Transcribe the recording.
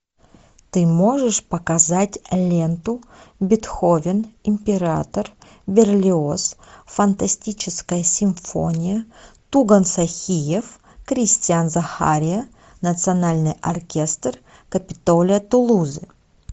ты можешь показать ленту бетховен император берлиоз фантастическая симфония туган сохиев кристиан захария национальный оркестр капитолия тулузы